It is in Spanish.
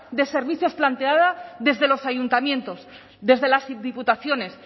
de servicios planteada desde los ayuntamientos desde las diputaciones